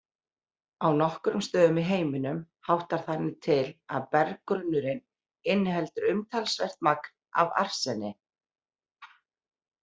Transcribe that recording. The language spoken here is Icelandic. Á nokkrum stöðum í heiminum háttar þannig til að berggrunnurinn inniheldur umtalsvert magn af arseni.